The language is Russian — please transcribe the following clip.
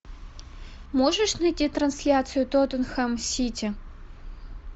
можешь найти трансляцию тоттенхэм сити